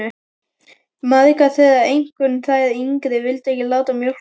Margar þeirra, einkum þær yngri, vildu ekki láta mjólka sig.